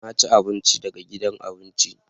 Na ci abinci daga gidan abinci